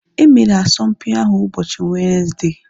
Emere asọmpi ahu ụbọchị Wenezde